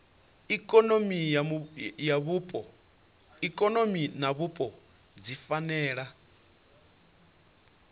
ikonomi na vhupo dzi fanela